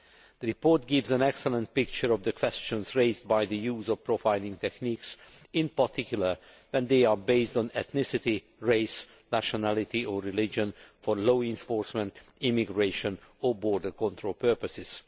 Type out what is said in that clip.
The report gives an excellent picture of the questions raised by the use of profiling techniques, in particular when they are based on ethnicity, race, nationality or religion for law enforcement, immigration or border control purposes.